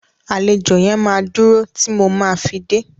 Àlejò yẹn máa dúro tí mo ma fi dé.